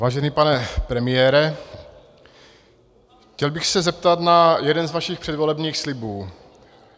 Vážený pane premiére, chtěl bych se zeptat na jeden z vašich předvolebních slibů.